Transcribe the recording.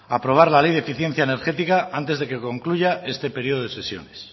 aprobar la ley de eficiencia energética antes de que concluya este periodo de sesiones